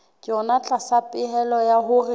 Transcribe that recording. yona tlasa pehelo ya hore